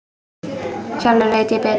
Sjálfur veit ég betur.